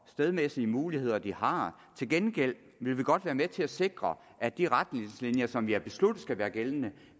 stedmæssige muligheder de har til gengæld vil vi godt være med til at sikre at de retningslinjer som vi har besluttet skal være gældende